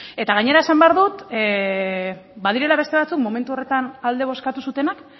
gainera esan behar dut badirela beste batzuk momentu horretan alde bozkatu zutenak